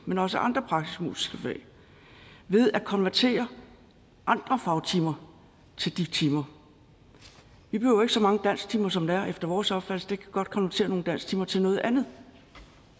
men også andre praktisk musiske fag ved at konvertere andre fagtimer til de timer vi behøver ikke så mange dansktimer som der er efter vores opfattelse vi kan godt konvertere nogle dansktimer til noget andet